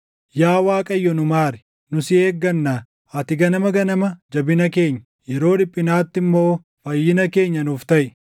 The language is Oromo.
Yaa Waaqayyo, nu maari; nu si eeggannaa. Ati ganama ganama jabina keenya, yeroo dhiphinaatti immoo fayyina keenya nuuf taʼi.